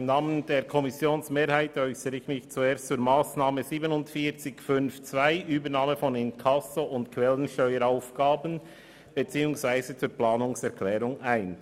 Im Namen der Kommissionsmehrheit äussere ich mich zuerst zur Massnahme 47.5.2 beziehungsweise zur Planungserklärung 1, Übernahme von Inkasso- und Quellensteueraufgaben.